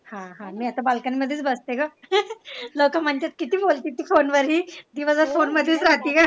हा हा मे असेही balcony मधेच बसते ग लोक म्हणतात कीती बोलते फोनवर ही दिवसभर फोन मधेच राहते का?